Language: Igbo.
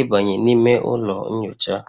ịbanye n'ime ụlọ nyocha